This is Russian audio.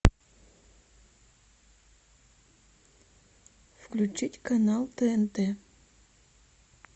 включить канал тнт